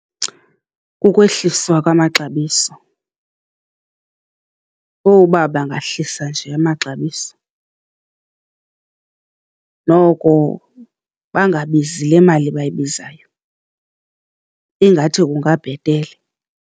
Kukwehliswa kwamaxabiso, uba bangahlisa nje amaxabiso noko bangabizi le mali bayibizayo, ingathi kungabhetele.